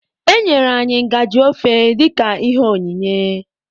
E nyere anyị ngajị ofe dịka ihe onyinye.